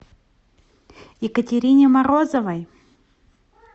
екатерине морозовой